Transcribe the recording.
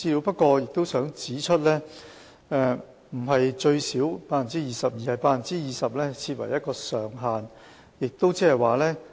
不過，我想指出，不是最少 20%，20% 是設定的上限。